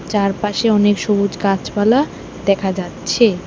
চারপাশে অনেক সবুজ গাছপালা দেখা যাচ্ছে।